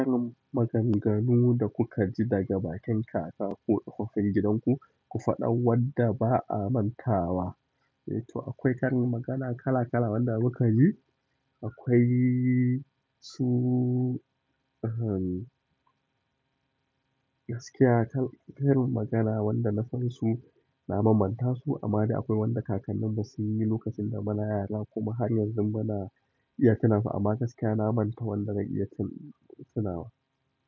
Ƙarin maganganu da kuka ji daga bakin kaka ko tsohuwar gidan ku, ku faɗa wadda ba a manta ba. To akwai karin magana kala kala wanda muka ji. Akwai su gaskiya, karin magana wanda na san su na manta su amma dai akwai wanda kakannin basu yi lokacin da muna yara kuma har yanzu muna iya tunansu amma gaskiya na manta wanda na iya tunawa.